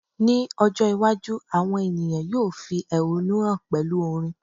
ní ọjọ iwaju, awọn ènìyàn yíò fi ehọ́nú hàn pẹlú orin